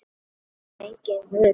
Það er enginn Guð til.